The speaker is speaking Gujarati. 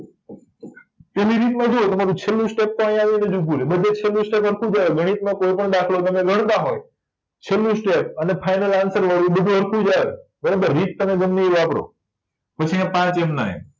તમારું છેલ્લું સ્ટેપતો આયા આવીને જો પૂરું બધે છેલુ સ્ટેપ ગણિતમાં તમે કોય પણ દાખલો ગણતા હોય છેલ્લું સ્ટેપ અને ફાઈનલ આન્સર લો ઇ બધુય સરખુજ આવે બરાબર રીત તમે ગમ્મે ઇ વાપરો પછી આ પાંચ એમના એમ